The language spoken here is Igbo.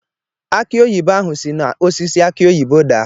Akị oyibo ahụ si n’osisi aki oyibo daa.